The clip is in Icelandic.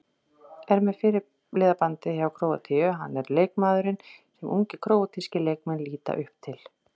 Er með fyrirliðabandið hjá Króatíu, hann er leikmaðurinn sem ungir króatískir leikmenn líta upp til.